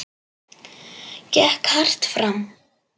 Gekk hart fram.